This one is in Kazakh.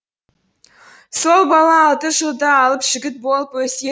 сол бала алты жылда алып жігіт болып өседі